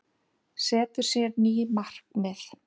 Setur sér ný markmið